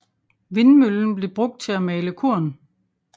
Vindmøllen blev brugt til at male korn